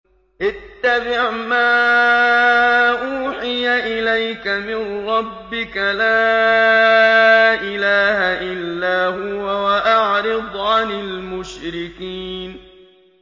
اتَّبِعْ مَا أُوحِيَ إِلَيْكَ مِن رَّبِّكَ ۖ لَا إِلَٰهَ إِلَّا هُوَ ۖ وَأَعْرِضْ عَنِ الْمُشْرِكِينَ